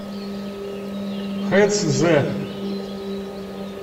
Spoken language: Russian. хэцзэ